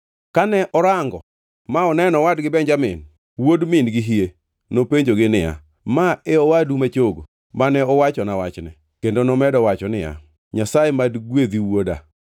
Kane orango ma oneno owadgi Benjamin, wuod min-gi hie, nopenjogi niya, “Ma e owadu ma chogo, mane uwachona wachne?” Kendo nomedo wacho niya, “Nyasaye mad gwedhi wuoda.”